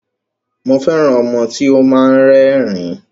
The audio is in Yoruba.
Mo fẹ́ràn ọmọ tí ó máa ń rẹ́rìn-ín.